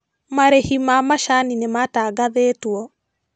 Marĩhi ma macani nĩmatangathĩtwo